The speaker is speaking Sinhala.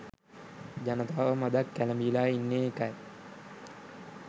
ජනතාව මඳක් කැළඹිලා ඉන්නේ ඒකයි.